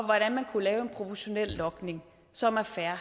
hvordan man kunne lave en proportionel logning som er fair